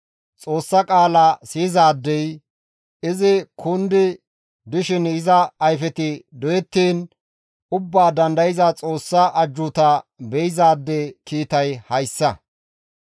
Xoossa qaala siyizaadey izi kundi dishin iza ayfeti doyettiin Ubbaa Dandayza Xoossa ajjuuta be7izaade kiitay hayssa.